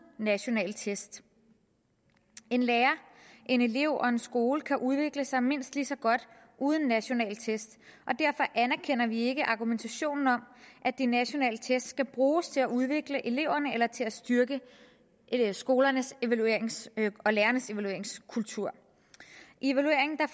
nationale test en lærer en elev og en skole kan udvikle sig mindst lige så godt uden nationale test og derfor anerkender vi ikke argumentationen om at de nationale test skal bruges til at udvikle eleverne eller til at styrke skolernes og lærernes evalueringskultur i evalueringen